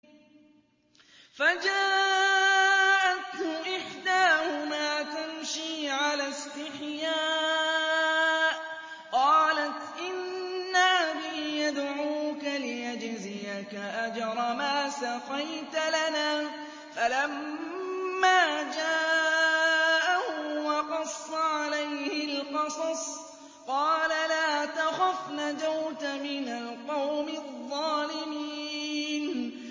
فَجَاءَتْهُ إِحْدَاهُمَا تَمْشِي عَلَى اسْتِحْيَاءٍ قَالَتْ إِنَّ أَبِي يَدْعُوكَ لِيَجْزِيَكَ أَجْرَ مَا سَقَيْتَ لَنَا ۚ فَلَمَّا جَاءَهُ وَقَصَّ عَلَيْهِ الْقَصَصَ قَالَ لَا تَخَفْ ۖ نَجَوْتَ مِنَ الْقَوْمِ الظَّالِمِينَ